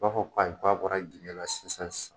B'a fɔ ko ayi k'a bɔra jigiɲɛ la sisan sisan